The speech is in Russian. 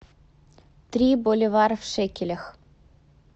три боливара в шекелях